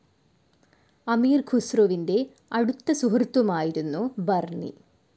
അമീർ ഖുസ്രുവിൻ്റെ അടുത്ത സുഹൃത്തുമായിരുന്നു ബർണി.